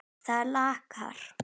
Það er lakara.